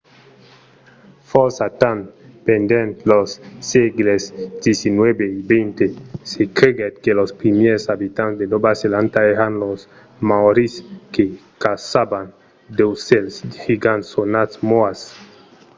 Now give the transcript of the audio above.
fòrça temps pendent los sègles xix e xx se creguèt que los primièrs abitants de nòva zelanda èran los maòris que caçavan d’aucèls gigants sonats moas